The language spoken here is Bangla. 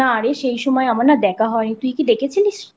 না রে সেই সময় না আমার দেখা হয় নি তুই কি দেখেছিলিস?